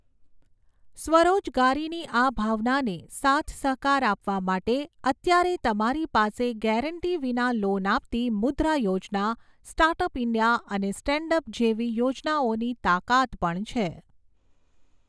સ્વરોજગારીની આ ભાવનાને સાથસહકાર આપવા માટે અત્યારે તમારી પાસે ગેરેન્ટી વિના લોન આપતી મુદ્રા યોજના, સ્ટાર્ટઅપ ઇન્ડિયા અને સ્ટેન્ડઅપ જેવી યોજનાઓની તાકાત પણ છે.